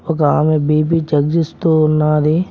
ఒక ఆమె BP check జేస్తూ ఉన్నాది.